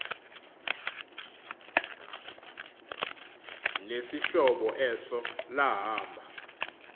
nesihlobo eso lahamba